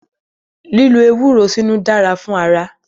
Lílo ewúro sínú dára fún ara.